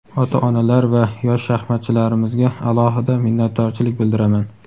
ota-onalar va yosh shaxmatchilarimizga alohida minnatdorchilik bildiraman!.